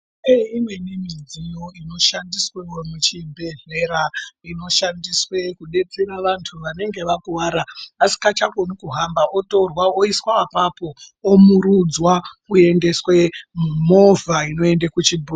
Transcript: Imweni midziyo inoshandiswewo muchibhehlera inoshandiswe kudetsera vantu vanenge vakuwara vasikachakoni kuhamba otorwa oiswa apapo omurudzwa oendeswe mumovha inoende kuchibhehlera..